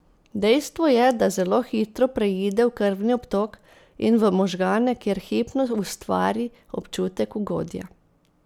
Dejstvo je, da zelo hitro preide v krvni obtok in v možgane, kjer hipno ustvari občutek ugodja.